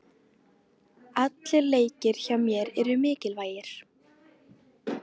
Allir leikir hjá mér eru mikilvægir.